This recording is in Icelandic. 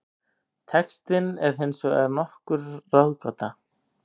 Textinn er hins vegar nokkur ráðgáta.